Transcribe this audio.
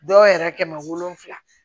Dɔw yɛrɛ kɛmɛ wolonwula